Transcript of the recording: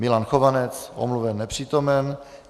Milan Chovanec: Omluven, nepřítomen.